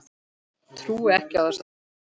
Trúi ekki á þessa tuggu.